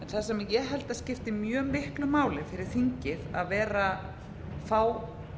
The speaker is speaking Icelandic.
það sem ég held að skipti mjög miklu máli fyrir þingið að fá